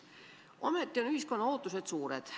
Ometi on ühiskonna ootused suured.